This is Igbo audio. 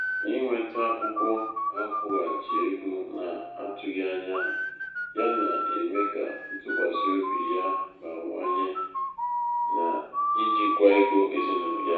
inweta akwụkwọ akwụghachi ego na-atụghị na-atụghị anya ya na-eme ka ntụkwasị obi ya bawanye n’ijikwa ego ezinụlọ ya